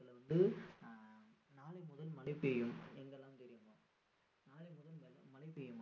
வந்து நாளை முதல் மழை பெய்யும் எங்கெல்லாம் பெய்யுமா நாளை முதல் மழை பெய்யும்